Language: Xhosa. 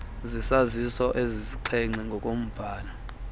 zesaziso ezisixhenxe ngokobhala